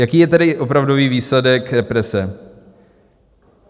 Jaký je tedy opravdový výsledek represe?